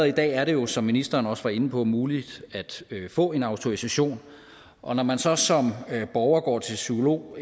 i dag er det jo som ministeren også var inde på muligt at få en autorisation og når man så som borger går til psykolog